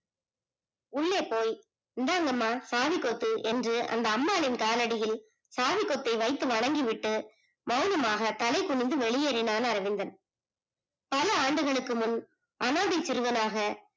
உள்ளே போய் இந்தாங்கமா சாவி கொத்து என்று அந்த அம்மாளின் கால்யடியில் சாவி கொத்தை வைத்து வணங்கி விட்டு மௌனமாக தலை குனிந்து வெளியேறினான் அரவிந்தன் பல ஆண்டுகளுக்கு முன் அநாதை சிறுவனாக